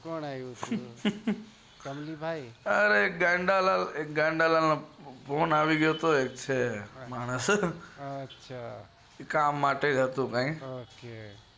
કોણ આવ્યું હતું અરે એક ગાંડા લાલ નો ફોન આવ્યો હતો કામ નોજ હતો ફોન